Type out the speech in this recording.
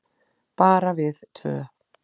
Bara við tvö.